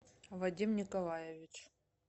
вадим николаевич